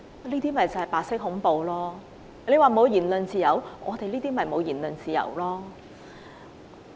那些同事說沒有言論自由，我們便正正沒有言論自由。